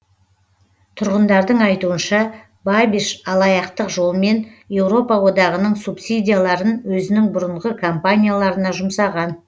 тұрғындардың айтуынша бабиш алаяқтық жолмен еуропа одағының субсидияларын өзінің бұрынғы компанияларына жұмсаған